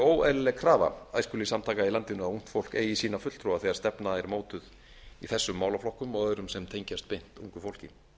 óeðlileg krafa æskulýðssamtaka í landinu að ungt fólk eigi sína fulltrúa þegar stefna er mótuð í þessum málaflokkum og öðrum sem tengjast beint ungu fólki